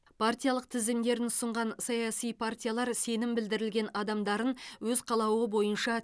партиялық тізімдерін ұсынған саяси партиялар сенім білдірілген адамдарын өз қалауы бойынша